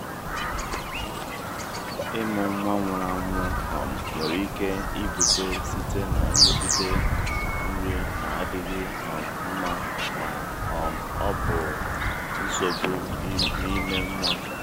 ịmụ nwa nwụrụ anwụ um nwere ike ibute site na nrụgide nri na-adịghị um mma ma um ọ bụ nsogbu n’ime nwa.